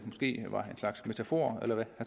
måske var en slags metafor eller hvad